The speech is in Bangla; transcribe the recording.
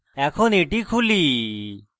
এখন এটি খুলি